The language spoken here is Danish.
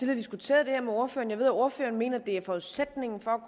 diskuteret det her med ordføreren ved at ordføreren mener at forudsætningen for